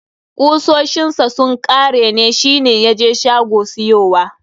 Kusoshin sa sun kare, shi ne ya je shago siyowa.